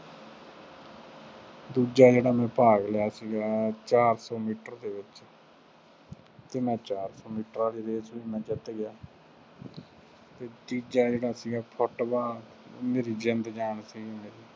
ਦੂਜਾ ਜਿਹੜਾ ਮੈਂ ਭਾਗ ਲਿਆ ਸੀਗਾ ਚਾਰ ਸੌ ਮੀਟਰ ਦੇ ਵਿੱਚ ਅਤੇ ਮੈਂ ਚਾਰ ਸੌ ਮੀਟਰ ਵਾਲੀ race ਵੀ ਮੈਂ ਜਿੱਤ ਗਿਆ। ਤੀਜਾ ਜਿਹੜਾ ਸੀਗਾ, ਫੁੱਟਬਾਲ, ਮੇਰੀ ਜ਼ਿੰਦ ਜਾਨ ਸੀਗੀ।